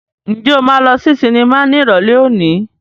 Ǹjẹ́ o máa lọ sí sinimá ní Ìrọ̀lẹ́ òní?